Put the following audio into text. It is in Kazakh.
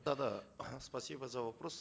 да да спасибо за вопрос